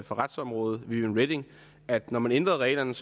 for retsområdet viviane reding at når man ændrede reglerne